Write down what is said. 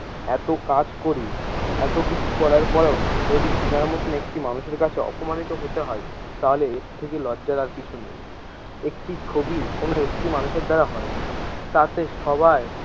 এতো কাজ করি, এতো কিছু করার পরেও যদি এনার মতোন একটি মানুষের কাছে অপমানিত হতে হয় তাহলে এর থেকে লজ্জার আর কিছুই নেই, একটি ছবি কোনো একটি মানুষের দ্বারা হয়না তাতে সবাই।